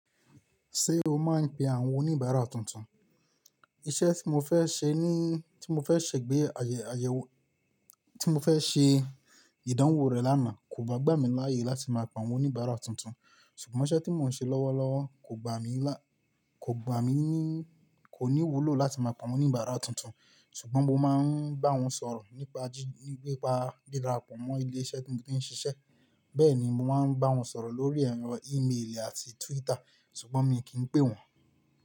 Ṣé o máa ń pe àwọn oníbàárà tuntun? Iṣẹ́ tí mo fẹ́ ṣe ní, tí mo fẹ́ ṣẹ̀ gbé ayẹ, ayẹwo, tí mo fẹ́ ṣe ìdánwò rẹ̀ lánàá kò bá gbà mí láàyè láti máa pe àwọn oníbàárà tuntun. Ṣùgbọ́n iṣẹ́ tí mò ń ṣe lọ́wọ́lọ́wọ́ kò gbà mí lá, kò gbà mí níí, kò ní wúlò láti máa pe àwọn oníbàárà tuntun. Ṣùgbọ́n mo máa ń bá wọn sọ̀rọ̀ nípa jí, nípa di darapọ mọ ilé iṣẹ́ tí mò ti ń ṣiṣẹ́. Bẹ́ẹ̀ ni, mo máa ń bá wọn sọ̀rọ̀ lórí ẹ̀rọ ìmeèlì àti Twitter, ṣùgbọ́n mi kì í pè wọ́n.